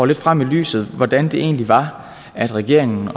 lidt frem i lyset hvordan det egentlig var at regeringen